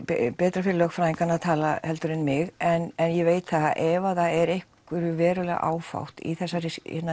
betra fyrir lögfræðingana að tala heldur en mig en ég veit það að ef það er einhverju verulega áfátt í þessari